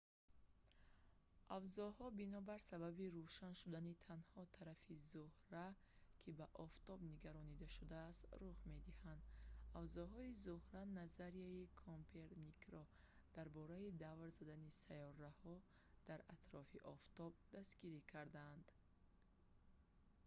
авзоҳо бинобар сабаби рӯшан шудани танҳо тарафи зӯҳра ё моҳ ки ба офтоб нигаронда шудааст рух медиҳад. авзоҳои зӯҳра назарияи коперникро дар бораи давр задани сайёраҳо дар атрофи офтоб дастгирӣ карданд